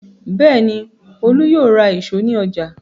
Bẹ́ẹ̀ ni, Olú yóò ra ìṣó ní ọjà.